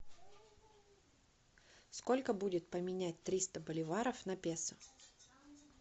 сколько будет поменять триста боливаров на песо